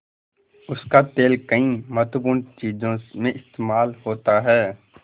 उसका तेल कई महत्वपूर्ण चीज़ों में इस्तेमाल होता है